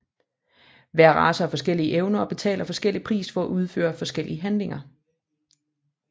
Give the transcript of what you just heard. Hver race har forskellige evner og betaler forskellig pris for at udføre forskellige handlinger